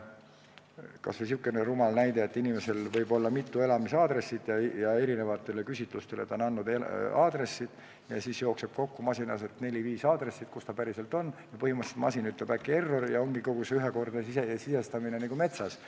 Kas või sihukene rumal näide, et inimesel võib olla mitu elukoha aadressi ja eri küsitlustes on ta andnud eri aadressid ja siis jooksevad masinas kokku neli-viis aadressi, põhimõtteliselt masin ütleb äkki "Error!" ja ongi kogu see ühekordne sisestamine metsas.